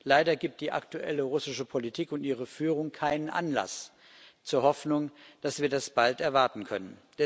Leider gibt die aktuelle russische Politik und ihre Führung keinen Anlass zur Hoffnung, dass wir das bald erwarten können.